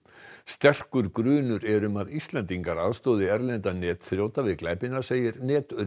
sterkur grunur er um að Íslendingar aðstoði erlenda netþrjóta við glæpina segir